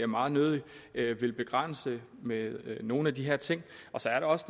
meget nødig vil begrænse med nogle af de her ting og så er der også